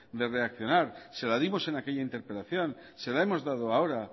de reaccionar se la dimos en aquella interpelación se la hemos dado ahora